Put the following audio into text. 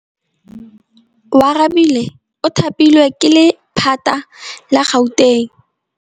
Oarabile o thapilwe ke lephata la Gauteng.